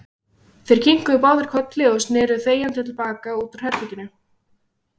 Þeir kinkuðu báðir kolli og sneru þegjandi til baka út úr herberginu.